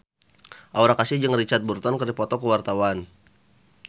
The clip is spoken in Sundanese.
Aura Kasih jeung Richard Burton keur dipoto ku wartawan